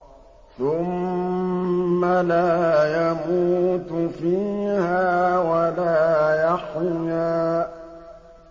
ثُمَّ لَا يَمُوتُ فِيهَا وَلَا يَحْيَىٰ